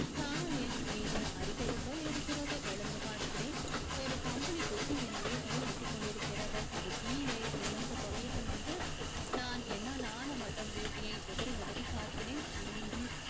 காலில் ஏதோ அரிப்பது போல் இருக்கிறது எழுந்து பார்க்கிறேன் ஒரு கம்பளிப்பூச்சி என் வேட்டியில் ஒட்டிக் கொண்டிருக்கிறது அது கீழே விழுந்து தொலையட்டும் என்று நான் என்னால் ஆன மட்டும் வேட்டியை உதறி உதறி பார்க்கிறேன் உம் உம்